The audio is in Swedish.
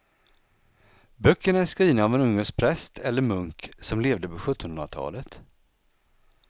Böckerna är skrivna av en ungersk präst eller munk som levde på sjuttonhundratalet.